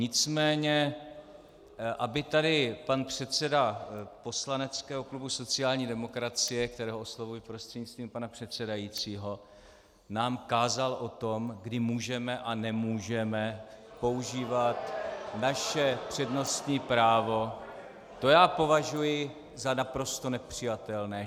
Nicméně aby tady pan předseda poslaneckého klubu sociální demokracie, kterého oslovuji prostřednictvím pana předsedajícího, nám kázal o tom, kdy můžeme a nemůžeme používat naše přednostní právo, to já považuji za naprosto nepřijatelné.